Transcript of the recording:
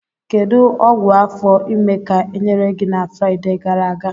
Kedu ọgwụ afọ ime ka enyere gị na Fraịde gara aga?